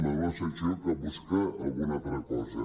m’ha fet la sensació que busca alguna altra cosa